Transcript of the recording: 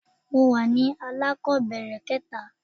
mo wa ní alakobere kẹta